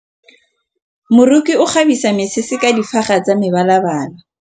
Moroki o kgabisa mesese ka difaga tsa mebalabala.